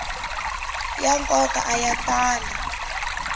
ya nkoka a ya tali